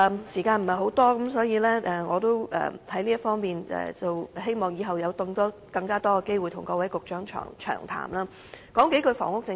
時間不多，我希望日後有更多機會跟各位局長詳談這問題。